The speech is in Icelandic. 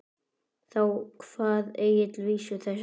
Þá kvað Egill vísu þessa